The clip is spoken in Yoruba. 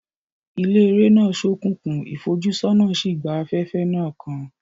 Ilé eré náà ṣókùnkùn, ìfojúsọ́nà sì gba afẹ́fẹ́ náà kan.